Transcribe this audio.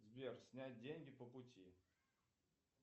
сбер снять деньги по пути